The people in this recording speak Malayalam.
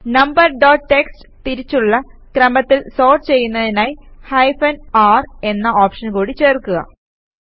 നംബർ ഡോട്ട് ടിഎക്സ്ടി തിരിച്ചുള്ള ക്രമത്തിൽ സോർട്ട് ചെയ്യുന്നതിനായി ഹൈഫൻ r എന്ന ഓപ്ഷൻ കൂടി ചേർക്കുക